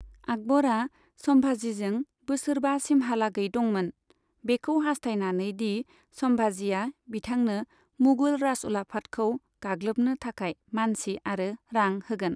आकबरआ सम्भाजीजों बोसोरबासिमहालागै दंमोन, बेखौ हास्थायनानै दि सम्भाजीआ बिथांनो मुगल राजउलाफातखौ गाग्लोबनो थाखाय मानसि आरो रां होगोन।